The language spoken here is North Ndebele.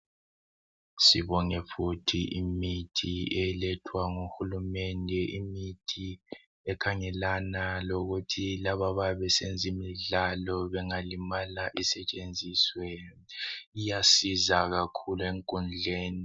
Sibone futhi imithi elethwa nguhulumende. Imithi ekhangelana lokuthi laba abayabe besenza imidlalo bengalimala isetshenziswe. Iyasiza kakhulu enkundleni.